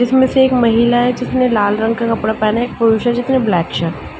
जिसमे से एक महिला है जिसने लाल रंग का कपड़ा पहना है एक पुरुष है जिसने ब्लैक शर्ट --